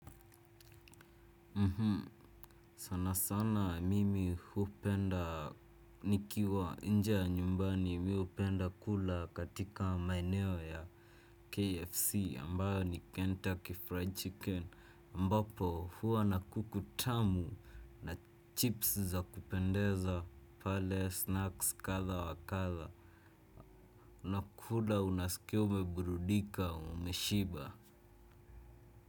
Mhm sana sana mimi hupenda nikiwa nje ya nyumbani mimi hupenda kula katika maeneo ya kfc ambayo ni kenta ki fried chicken ambapo huwa na kuku tamu na chips za kupendeza pale snacks kadha wa kadha unakula unasikia umeburudika umeshiba.